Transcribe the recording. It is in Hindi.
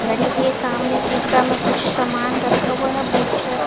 घड़ी के सामने सीसा मे कुछ सामान रखा हुआ हे बुक टाइप --